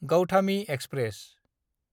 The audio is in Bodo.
गौथामि एक्सप्रेस